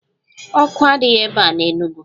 Ọkụ adịghị ebe a n'Enugwu